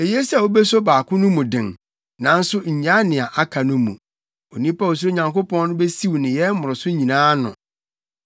Eye sɛ wubeso baako no mu den nanso nnyaa nea aka no mu. Onipa a osuro Onyankopɔn no besiw nneyɛe mmoroso nyinaa ano.